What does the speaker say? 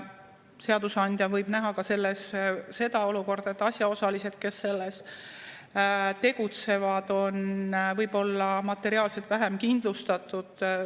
Seadusandja võib näha selles ka seda olukorda, et asjaosalised, kes selles tegutsevad, on võib-olla materiaalselt vähem kindlustatud.